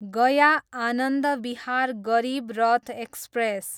Gaya, Anand Vihar Garib Rath express